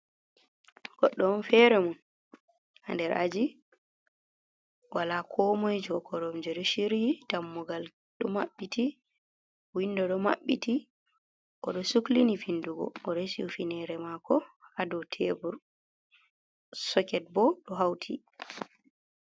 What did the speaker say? Goɗɗo on fere mun, ha nder aji wala ko moi jo. korom je ɗo shiryi dammugal ɗo mabbiti windo ɗo mabbiti. O ɗo suklini findugo o resi hifinere mako ha do tebul soket bo ɗo hauti.